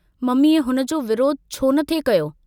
मम्मीअ हुन जो विरोध छो नथे कयो।